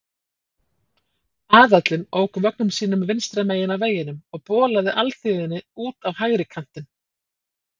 Aðallinn ók vögnum sínum vinstra megin á vegunum og bolaði alþýðunni út á hægri kantinn.